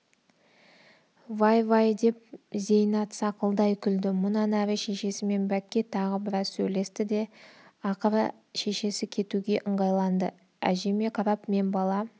вай вай деп зейнат сақылдай күлді мұнан әрі шешесімен бәкке тағы біраз сөйлесті де ақыры шешесі кетуге ыңғайланды әжеме қарап мен бала